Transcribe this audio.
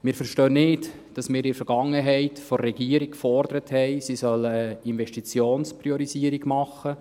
Wir verstehen nicht, dass wir in der Vergangenheit von der Regierung gefordert haben, sie solle eine Investitionspriorisierung machen.